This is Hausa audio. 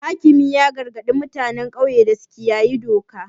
Hakimi ya gargadi mutanen ƙauye da su kiyaye doka.